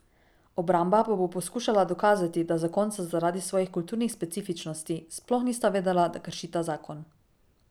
Obramba pa bo poskušala dokazati, da zakonca zaradi svojih kulturnih specifičnosti sploh nista vedela, da kršita zakon.